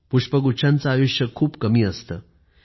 पुष्पगुच्छांचे आयुष्य खूप कमी असतं